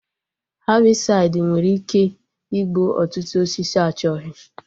Hebịsaịdi nwere ike igbu ọtụtụ osisi achọghị